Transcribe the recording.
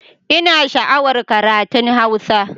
Ina sha'awar karatun Hausa